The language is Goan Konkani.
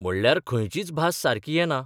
म्हणल्यार खंयचीच भास सारकी येना.